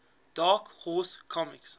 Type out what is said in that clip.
dark horse comics